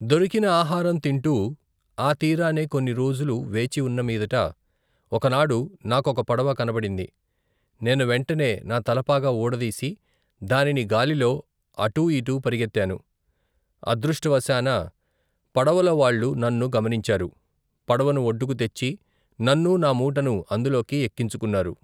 దొరికిన ఆహారం తింటూ ఆ తీరానే కొన్ని రోజులు వేచి ఉన్నమీదట, ఒకనాడు, నాకొక పడవ కనబడింది, నేను వెంటనే నా తలపాగా ఊడదీసి దానిని గాలిలో అటూ ఇటూ పరిగెత్తాను, అదృష్టవశాన పడవలోవాళ్ళు నన్ను గమనించారు, పడవను ఒడ్డుకు తెచ్చి నన్నూ నా మూటను అందులోకి ఎక్కించుకున్నారు.